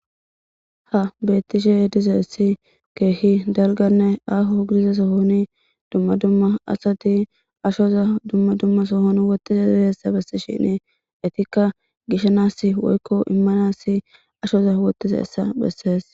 ha beettishe dize essi keehi dalganne aaho gidiza sohoni dumma dumma asati ashoza dumma dumma sohon wottiza dizeessa bessi shine etikka gishanas woykko immanassi ashoza wottiza essa bessees